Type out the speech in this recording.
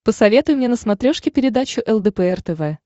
посоветуй мне на смотрешке передачу лдпр тв